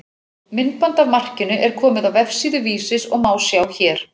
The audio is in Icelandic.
Myndband af markinu er komið á vefsíðu Vísis og má sjá hér.